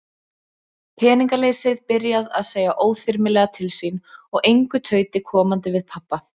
Peningaleysið byrjað að segja óþyrmilega til sín og engu tauti komandi við pabba.